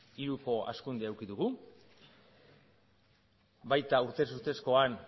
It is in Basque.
hiruko hazkundea eduki dugu baita urtez urtezkoan